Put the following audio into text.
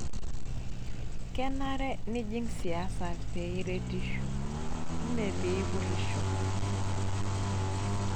Kenare nijing siasa pee iretesho mee pee ipurisho.